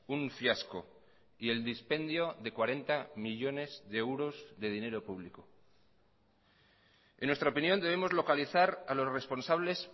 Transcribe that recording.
un fiasco y el dispendio de cuarenta millónes de euros de dinero público en nuestra opinión debemos localizar a los responsables